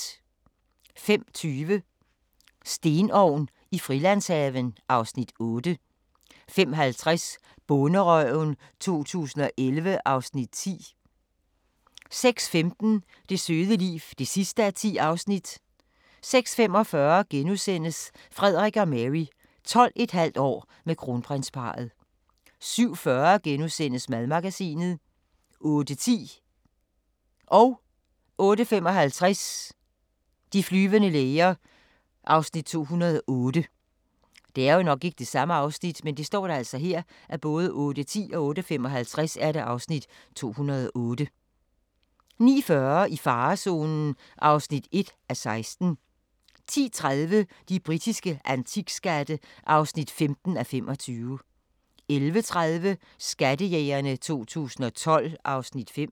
05:20: Stenovn i Frilandshaven (Afs. 8) 05:50: Bonderøven 2011 (Afs. 10) 06:15: Det søde liv (10:10) 06:45: Frederik og Mary – 12½ år med kronprinsparret * 07:40: Madmagasinet * 08:10: De flyvende læger (208:224) 08:55: De flyvende læger (208:224) 09:40: I farezonen (1:61) 10:30: De britiske antikskatte (15:25) 11:30: Skattejægerne 2012 (Afs. 5)